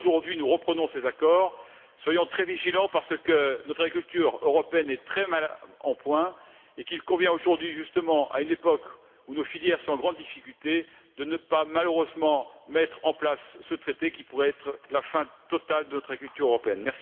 Aujourd'hui, nous reprenons cet accord mais soyons très vigilants parce que notre culture européenne est très mal en point, et il convient aujourd'hui, justement à une époque où nos filières sont en grande difficulté, de ne pas malheureusement mettre en place ce traité qui pourrait être la fin totale de notre agriculture européenne.